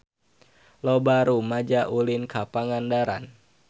Loba rumaja ulin ka Pangandaran